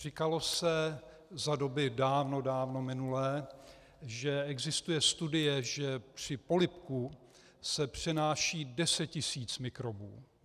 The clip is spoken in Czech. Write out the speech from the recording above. Říkalo se za doby dávno, dávno minulé, že existuje studie, že při polibku se přenáší deset tisíc mikrobů.